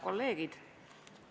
Kolleegid!